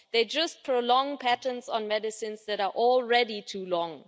They just prolong patents on medicines that are already too long.